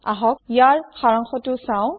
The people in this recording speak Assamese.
আহক ইয়াৰ সাৰাংশটো চাওঁ